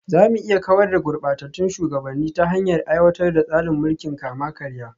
Za mu iya kawar da gurbatattun shugabanni ta hanyar aiwatar da tsarin mulkin kama-karya